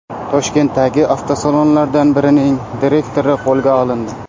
Toshkentdagi avtosalonlardan birining direktori qo‘lga olindi.